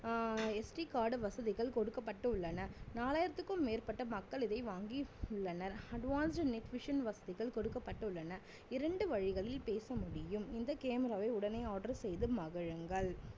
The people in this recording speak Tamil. ஆஹ் SD card வசதிகள் கொடுக்கப்பட்டு உள்ளன நாலாயிரத்துக்கும் மேற்பட்ட மக்கள் இதை வாங்கியுள்ளனர் advance net vision வசதிகள் கொடுக்கப்பட்டு உள்ளன இரண்டு வழிகளில் பேச முடியும் இந்த camera வை உடனே order செய்து மகிழுங்கள்